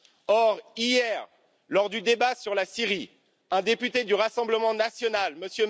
Or hier, lors du débat sur la Syrie, un député du Rassemblement national, M.